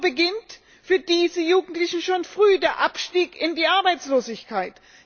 So beginnt für diese Jugendlichen schon früh der Abstieg in die Arbeitslosigkeit.